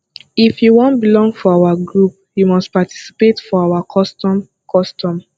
if you wan belong for our group you must participate for our custom custom